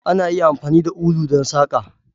Ana iya amfani da ulu don saƙa.